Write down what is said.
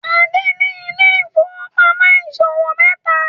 Ade ní Ile-ifowopamọ ìṣòwò meta